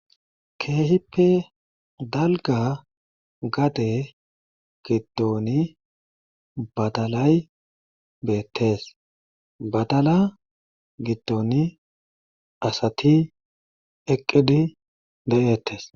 Keehippe dalgga gade giddoni badalay beettees badala giddoni asati eqqidi de7eettees.